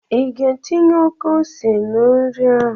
I ga-etinye oke ose na nri ahụ?